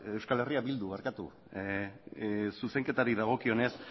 euskal herria bildu barkatu zuzenketari dagokionez